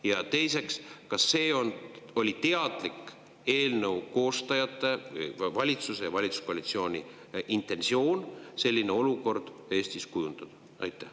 Ja teiseks, kas see oli eelnõu koostajate, valitsuse ja valitsuskoalitsiooni teadlik intentsioon selline olukord Eestis kujundada?